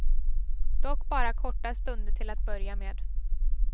Dock bara korta stunder till att börja med.